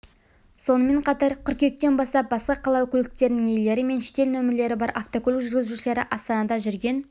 сонымен қатар қыркүйектен бастап басқа қала көліктерінің иелері мен шетел нөмірлері бар автокөлік жүргізушілері астанада жүрген